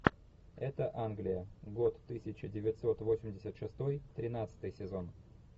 это англия год тысяча девятьсот восемьдесят шестой тринадцатый сезон